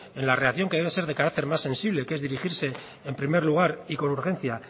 en la reacción que debe ser de carácter más sensible que es dirigirse en primer lugar y con urgencia